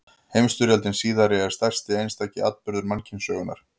Heimsstyrjöldin síðari er stærsti einstaki atburður mannkynssögunnar.